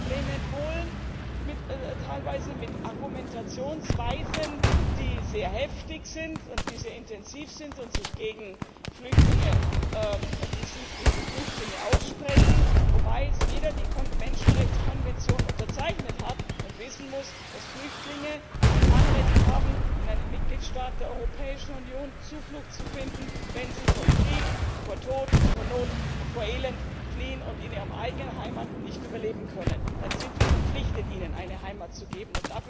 Wir haben auch Probleme in Polen, teilweise mit Argumentationsweisen, die sehr heftig sind und die sehr intensiv sind und sich gegen Flüchtlinge aussprechen, wobei jeder die Menschenrechtskonvention unterzeichnet hat und wissen muss, dass Flüchtlinge ein Anrecht haben, in einem Mitgliedstaat der Europäischen Union Zuflucht zu finden, wenn sie vor Krieg, vor Tod, vor Not und vor Elend fliehen und in ihrer eigenen Heimat nicht überleben können. Dann sind wir verpflichtet, ihnen eine Heimat zu geben.